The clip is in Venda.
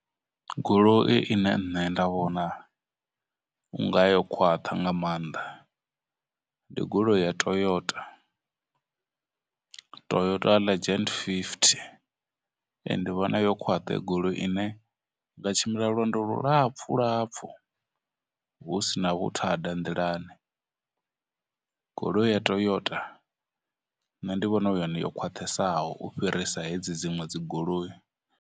Goloi ine nṋe nda vhona u nga yo khwaṱha nga maanḓa ndi goloi ya Toyota, Toyota Legend fifty, ee, ndi vhona yo khwaṱha heyo goloi ine nga tshimbila lwendo lulapfhulapfhu hu si na vhuthada nḓilani, goloi ya Toyota nṋe ndi vhona hu yone yo khwaṱhesaho u fhirisa hedzi dziṅwe dzigoloi.